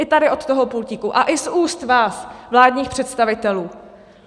I tady od toho pultíku a i z úst vás, vládních představitelů?